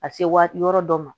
A bɛ se waati yɔrɔ dɔ ma